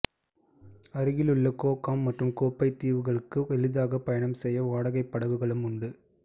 அருகில் உள்ள Ko Kam மற்றும் கோ பை தீவுகளுக்கு எளிதாகப் பயணம் செய்ய வாடகைப் படகுகளும் உண்டு